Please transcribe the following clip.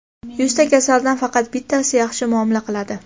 "Yuzta kasaldan faqat bittasi yaxshi muomala qiladi".